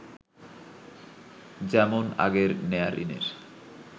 যেমন আগের নেয়া ঋণের